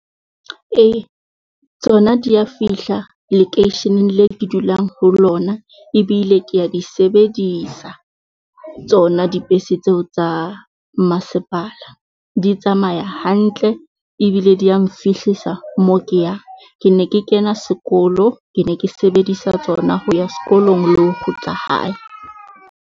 Ee tsona dia fihla lekeisheneng le ke dulang ho lona, ebile ke a di sebedisa tsona dibese tseo tsa masepala. Di tsamaya hantle ebile di ya nfihlisa moo ke yang. Ke ne ke kena sekolo, ke ne ke sebedisa tsona ho ya sekolong le ho kgutla hae.